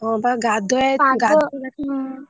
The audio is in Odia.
ହଁବା ଗାଧୁଆ ହୁଁ।